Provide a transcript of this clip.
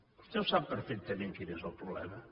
vostè ho sap perfectament quin és el problema